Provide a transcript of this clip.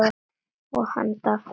Og hann dafnar enn.